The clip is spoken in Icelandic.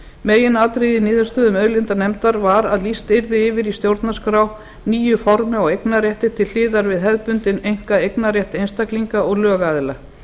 meginatriðið í niðurstöðum auðlindanefndar var að lýst yrði yfir í stjórnarskrá nýju formi á eignarrétti til hliðar við hefðbundinn einkaeignarrétt einstaklinga og lögaðila